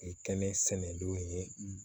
Kɛnɛsɛnɛn don ye